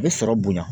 A bɛ sɔrɔ bonya